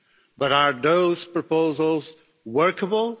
But are those proposals workable?